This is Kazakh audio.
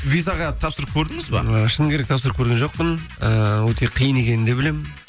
визаға тапсырып көрдіңіз бе ы шыны керек тапсырып көрген жоқпын ыыы өте қиын екенін де білемін